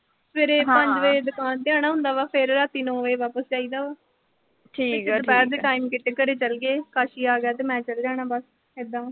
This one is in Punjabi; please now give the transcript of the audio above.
ਸਵੇਰੇ ਪੰਜ ਵਜੇ ਦੁਕਾਨ ਜਾਣਾ ਹੁੰਦਾ ਗਾ। ਫਿਰ ਰਾਤੀ ਨੌਂ ਵਜੇ ਵਾਪਸ ਜਾਈ ਦਾ ਵਾ। ਦੁਪਹਿਰ ਦੇ time ਕਿਤੇ ਘਰੇ ਚਲ ਗੇ। ਕਾਸ਼ੀ ਆਗਿਆ ਤੇ ਮੈਂ ਚਲੇ ਜਾਣਾ ਬਸ ਏਦਾ।